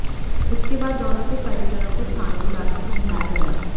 इसके बाद दोनों के परिजनों को थाने बुलाकर समझाया गया